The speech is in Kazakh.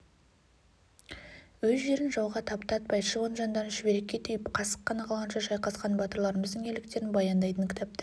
өз жерін жауға таптатпай шыбын жандарын шүберекке түйіп қасық қаны қалғанша шайқасқан батырларымыздың ерліктерін баяндайтын кітаптар